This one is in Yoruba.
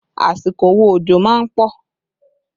Àsìkò wo òjò má ń pọ̀?